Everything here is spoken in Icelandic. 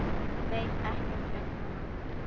Veit ekkert um hana.